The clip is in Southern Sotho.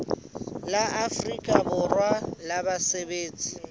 la afrika borwa la basebetsi